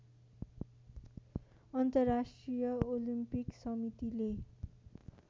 अन्तर्राष्ट्रिय ओलिम्पिक समितिले